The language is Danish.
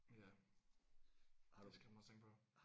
Ja det er skræmmende at tænke på